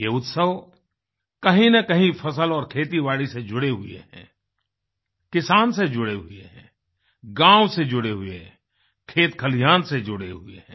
ये उत्सव कहींनकहीं फसल और खेतीबाड़ी से जुड़े हुए हैं किसान से जुड़े हुए हैं गाँव से जुड़े हुए हैं खेत खलिहान से जुड़े हुए हैं